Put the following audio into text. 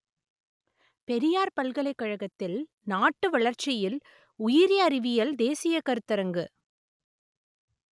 பெரியார் பல்கலைக்கழகத்தில் நாட்டு வளர்ச்சியில் உயிரி அறிவியல் தேசிய கருத்தரங்கு